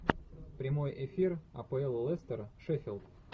прямой эфир апл лестер шеффилд